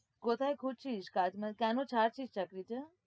কোথায় খুঁজছিস? কাজ কেন ছাড়ছিস চাকরিটা?